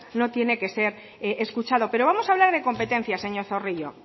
no tiene que ser escuchado pero vamos hablar de competencias señor zorrilla